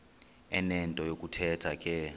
enento yokuthetha ke